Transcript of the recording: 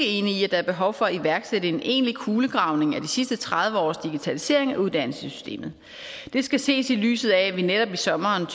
enig i at der er behov for at iværksætte en egentlig kulegravning af de sidste tredive års digitalisering af uddannelsessystemet det skal ses i lyset af at vi netop i sommeren